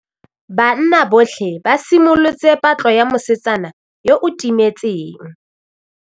Banna botlhê ba simolotse patlô ya mosetsana yo o timetseng.